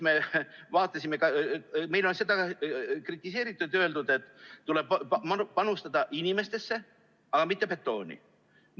Meid on kritiseeritud ja öeldud, et tuleb panustada inimestesse, aga mitte betooni.